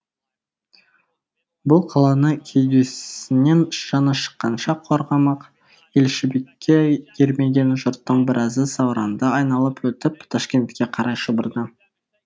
бұл қаланы кеудесінен жаны шыққанша қорғамақ елшібекке ермеген жұрттың біразы сауранды айналып өтіп ташкентке қарай шұбырды